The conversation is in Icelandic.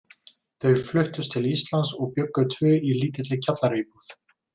Þau fluttust til Íslands og bjuggu tvö í lítilli kjallaraíbúð.